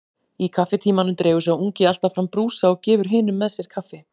Í kaffitímanum dregur sá ungi alltaf fram brúsa og gefur hinum með sér kaffi.